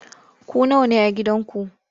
Ku nawa ne a gidanku?